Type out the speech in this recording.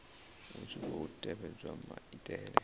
hu tshi khou tevhedzwa maitele